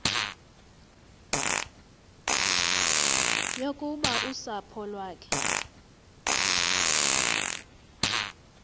yokuba usapho lwakhe